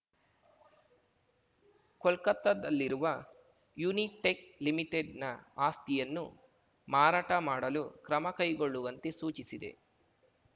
ಕೋಲ್ಕತ್ತಾದಲ್ಲಿರುವ Unitech ಲಿಮಿಟೆಡ್‌ನ ಆಸ್ತಿಯನ್ನು ಮಾರಾಟ ಮಾಡಲು ಕ್ರಮ ಕೈಗೊಳ್ಳುವಂತೆ ಸೂಚಿಸಿದೆ